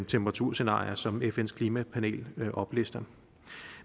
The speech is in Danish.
temperaturscenarier som fns klimapanel oplister